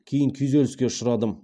кейін күйзеліске ұшырадым